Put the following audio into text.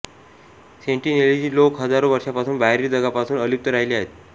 Sentinelese लोक हजारो वर्षांपासून बाहेरील जगापासून अलिप्त राहिले आहेत